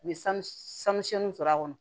U ye sanu sɔrɔ a kɔnɔ